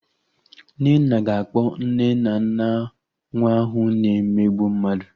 Nnenna ga-akpọ nne na nna nwa ahụ na-emegbu mmadụ